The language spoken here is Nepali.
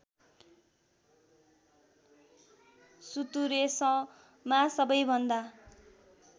सुतुरेसमा सबैभन्दा